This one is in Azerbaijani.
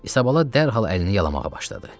Isabal dərhal əlini yalamağa başladı.